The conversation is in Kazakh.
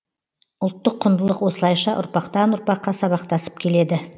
ұлттық құндылық осылайша ұрпақтан ұрпаққа сабақтасып келеді